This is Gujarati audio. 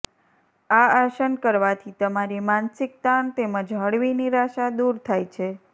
આ આસન કરવાથી તમારી માનસિક તાણ તેમજ હળવી નિરાશા દૂર થાય છે